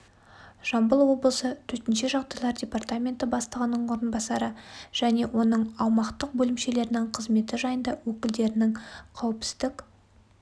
жамбыл облысы төтенше жағдайлар департаменті бастығының орынбасары және оның оның аумақтық бөлімшелерінің қызметі жайында өкілдерінің қауіпсіздік